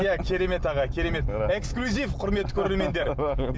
иә керемет аға керемет эксклюзив құрметті көрермендер